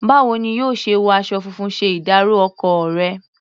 Báwo ni yóò ṣe wọ aṣọ funfun ṣe ìdárọ̀ ọkọ rẹ̀?